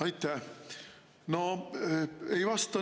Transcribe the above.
Aitäh!